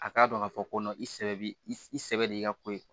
A k'a dɔn k'a fɔ ko i sɛbɛ bɛ i sɛbɛ de ka ko